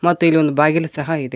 ಮತ್ತ ಇಲ್ಲಿ ಒಂದ ಬಾಗಿಲ ಸಹ ಇದೆ.